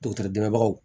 Dɔgɔtɔrɔ dɛbaw